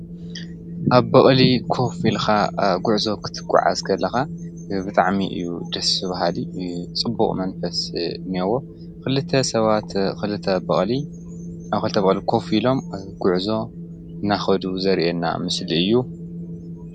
ኣብ በቕሊ ኮፈ ኢልካ ጉዕዞ ክትጋዓዛ ከለኻ ብጣዕሚ እዩ ደሰ በሃሊ ፅቡቕ መንፈሰ አለዎ። ክልተ ሰባት ኣብ ክልተ በቕሊ ኮፍ ኢሎም ጉዕዞ እናከዱ ዘርኤና ምስሊ እዩ::